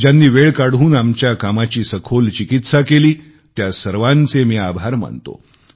ज्यांनी वेळ काढून आमच्या कामाची सखोल चिकित्सा केली त्या सर्वांचे मी आभार मानतो